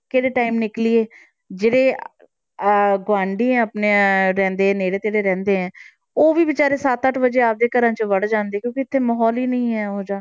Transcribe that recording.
ਕਿਹੜੇ time ਨਿਕਲੀਏ ਜਿਹੜੇ ਅਹ ਗੁਆਂਢੀ ਆਪਣੇ ਰਹਿੰਦੇ ਨੇੜੇ ਤੇੜੇ ਰਹਿੰਦੇ ਹੈ, ਉਹ ਵੀ ਬੇਚਾਰੇ ਸੱਤ ਅੱਠ ਵਜੇ ਆਪਦੇ ਘਰਾਂ 'ਚ ਵੜ ਜਾਂਦੇ ਕਿਉਂਕਿ ਇੱਥੇ ਮਾਹੌਲ ਹੀ ਨਹੀਂ ਹੈ ਉਹ ਜਿਹਾ।